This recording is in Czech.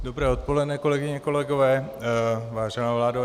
Dobré odpoledne, kolegyně, kolegové, vážená vládo.